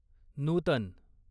नूतन